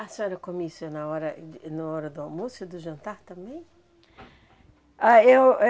A senhora come isso na hora de na hora e do almoço e do jantar também? Ah eu ã